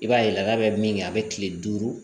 I b'a ye lada bɛ min kɛ a bɛ kile duuru